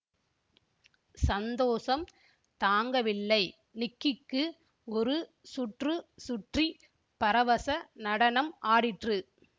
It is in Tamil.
சந்தோஷம் தாங்கவில்லை நிக்கிக்கு ஒரு சுற்று சுற்றி பரவச நடனம் ஆடிற்று